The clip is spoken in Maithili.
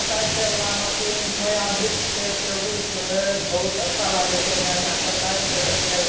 एक्सरसाइज करय वाला मशीन छै यहां वृक्ष छै टेबूल छैबहुत अच्छा लागय छै देखे में यहाँ एक्सरसाइज करय छै।